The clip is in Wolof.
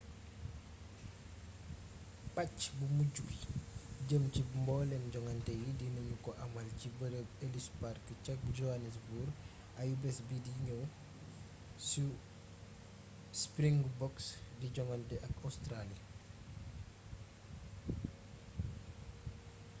pàcc mu mujju bi jëm ci mboolem jongante yi dina ñu ko amal ci bërëb ellis park ca johannesburg ayubés bidi ñëw su springboks di jogante ak óstraali